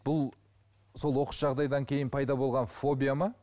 бұл сол оқыс жағдайдан кейін пайда болған фобия ма